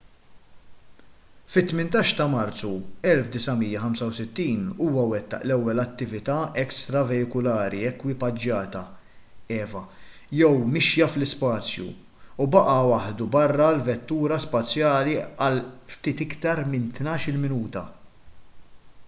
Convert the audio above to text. fit-18 ta’ marzu 1965 huwa wettaq l-ewwel attività ekstraveikulari ekwipaġġata eva jew mixja fl-ispazju u baqa’ waħdu barra l-vettura spazjali għal ftit iktar minn tnax-il minuta